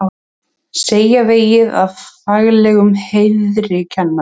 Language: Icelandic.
Segja vegið að faglegum heiðri kennara